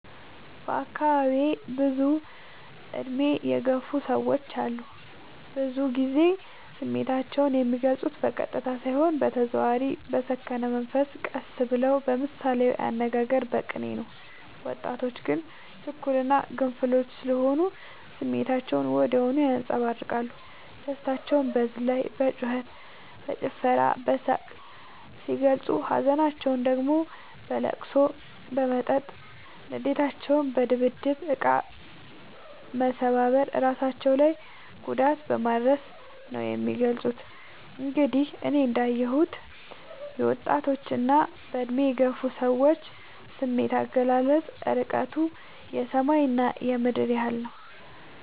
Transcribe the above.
በአካባቢዬ ብዙ እድሜ የገፉ ሰዎች አሉ። ብዙ ግዜ ስሜታቸው የሚልፁት በቀጥታ ሳይሆን በተዘዋዋሪ በሰከነ መንፈስ ቀስ ብለው በምሳሌያዊ አነጋገር በቅኔ ነው። ወጣቶች ግን ችኩል እና ግንፍሎች ስሆኑ ስሜታቸውን ወዲያው ያንፀባርቃሉ። ደስታቸውን በዝላይ በጩከት በጭፈራ በሳቅ ሲገልፁ ሀዘናቸውን ደግሞ በለቅሶ በመጠጥ ንዴታቸውን በድብድብ እቃ መሰባበር እራሳቸው ላይ ጉዳት በማድረስ ነው የሚገልፁት። እንግዲህ እኔ እንዳ የሁት የወጣቶች እና በእድሜ የገፉ ሰዎች ስሜት አገላለፅ እርቀቱ የሰማይ እና የምድር ያህል ነው።